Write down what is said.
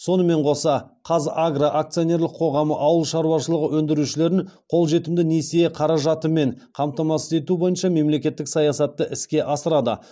сонымен қоса қазагро акционерлік қоғамы ауыл шаруашылығы өндірушілерін қолжетімді несие қаражатымен қамтамасыз ету бойынша мемлекеттік саясатты іске асырады